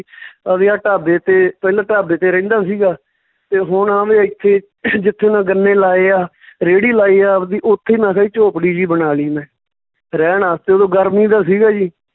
ਅਹ ਵੀ ਆ ਢਾਬੇ ਤੇ, ਪਹਿਲਾਂ ਢਾਬੇ ਤੇ ਰਹਿੰਦਾ ਸੀਗਾ ਤੇ ਹੁਣ ਇੱਥੇ ਜਿੱਥੇ ਮੈਂ ਗੰਨੇ ਲਾਏ ਆ ਰੇਹੜੀ ਲਾਈ ਹੈ ਆਵਦੀ, ਉੱਥੇ ਮੈਂ ਕਿਹਾ ਜੀ ਝੋਪੜੀ ਜਿਹੀ ਬਣਾ ਲਈ ਮੈਂ ਰਹਿਣ ਵਾਸਤੇ ਓਦੋਂ ਗਰਮੀ ਦਾ ਸੀਗਾ ਜੀ